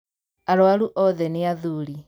Arwaru othe nĩathuri.